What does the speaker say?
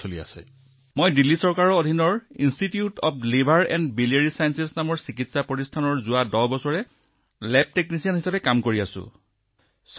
মই যোৱা ১০ বছৰ ধৰি দিল্লী চৰকাৰৰ স্বায়ত্তশাসিত প্ৰতিষ্ঠান institute of liver and biliary sciences নামৰ এখন চিকিৎসালয়ত লেব টেকনিচিয়ান হিচাপে কাম কৰি আছোঁ